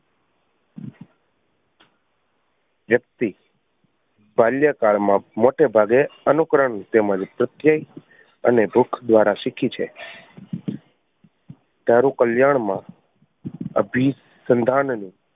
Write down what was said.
વ્યક્તિ બાલ્યકાળ માં મોટે ભાગે અનુકરણ તેમજ અને ભૂખ દ્વારા શીખી છે તારું કલ્યાણ માં અભિ સંધાન ને